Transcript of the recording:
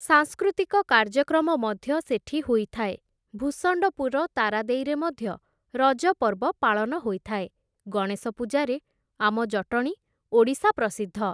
ସାଂସ୍କୃତିକ କାର୍ଯ୍ୟକ୍ରମ ମଧ୍ୟ ସେଠି ହୋଇଥାଏ । ଭୂଷଣ୍ଡପୁର ତାରାଦେଈରେ ମଧ୍ୟ ରଜ ପର୍ବ ପାଳନ ହୋଇଥାଏ । ଗଣେଶ ପୂଜାରେ ଆମ ଜଟଣୀ, ଓଡ଼ିଶା ପ୍ରସିଦ୍ଧ ।